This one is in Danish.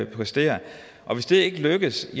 præstere og hvis det ikke lykkes